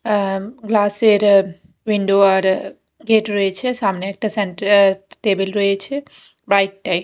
অ্যা glass -এর window আর gate রয়েছে সামনে একটা সেন্টার টেবিল রয়েছে বাইক -টাইক--